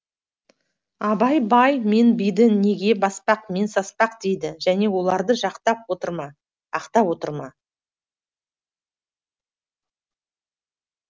абай бай мен биді неге баспақ пен саспақ дейді және оларды жақтап отыр ма ақтап отыр ма